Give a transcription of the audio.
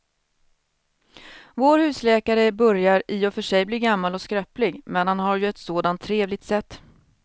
Vår husläkare börjar i och för sig bli gammal och skröplig, men han har ju ett sådant trevligt sätt!